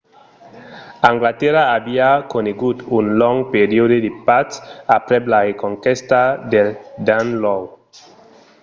anglatèrra aviá conegut un long periòde de patz aprèp la reconquèsta del danelaw